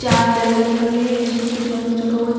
चार डेग रखे हुए हैं जिसमें कुछ न कुछ रखा हुआ है दो--